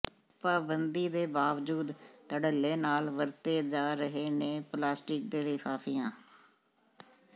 ਪਾਬੰਦੀ ਦੇ ਬਾਵਜੂਦ ਧੜੱਲੇ ਨਾਲ ਵਰਤੇ ਦਾ ਰਹੇ ਨੇ ਪਲਾਸਟਿਕ ਦੇ ਲਿਫ਼ਾਿਫ਼ਆਂ